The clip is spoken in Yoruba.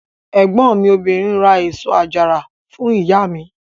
Ẹ̀gbọ́n mi obìnrin ra èso àjàrà fún ìyá mi.